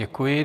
Děkuji.